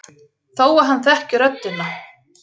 Þó að hann þekki röddina.